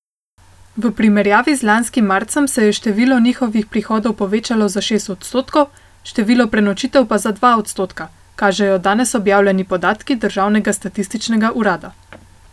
V primerjavi z lanskim marcem se je število njihovih prihodov povečalo za šest odstotkov, število prenočitev pa za dva odstotka, kažejo danes objavljeni podatki državnega statističnega urada.